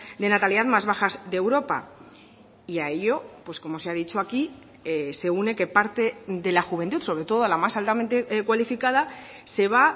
de natalidad más bajas de europa y a ello pues como se ha dicho aquí se une que parte de la juventud sobre todo la más altamente cualificada se va